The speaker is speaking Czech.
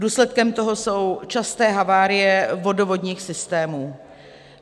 Důsledkem toho jsou časté havárie vodovodních systémů.